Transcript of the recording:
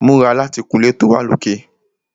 Múra láti kun ilé tó wà lókè!